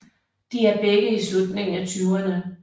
De er begge i slutningen af tyverne